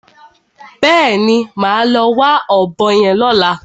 Bẹ́ẹ̀ni, màá lọ wá ọ̀bọ yẹn lọ́la.